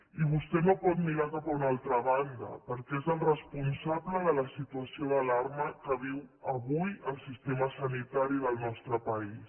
i vostè no pot mirar cap a una altra banda perquè és el responsable de la situació d’alarma que viu avui el sistema sanitari del nostre país